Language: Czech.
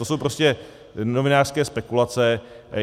To jsou prostě novinářské spekulace.